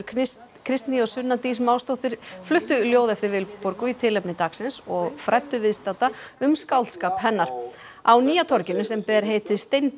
Kristný og Sunna Dís Másdóttir fluttu ljóð eftir Vilborgu í tilefni dagsins og fræddu viðstadda um skáldskap hennar á nýja torginu sem ber heitið